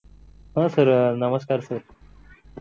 हा सर अह नमस्कार सर